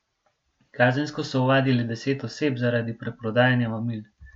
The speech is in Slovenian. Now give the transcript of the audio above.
Kazensko so ovadili deset oseb zaradi preprodajanja mamil.